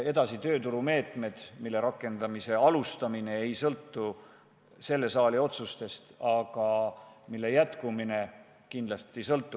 Edasi tulevad tööturumeetmed, mille rakendamise alustamine ei sõltu selle saali otsustest, aga mille jätkumine kindlasti sõltub.